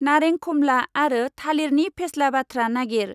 नारें खमला आरो थालिरनि फेस्ला बाथ्रा नागिर।